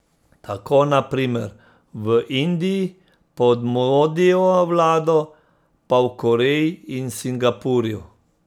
Tako, na primer, v Indiji pod Modijevo vlado, pa v Koreji in Singapurju.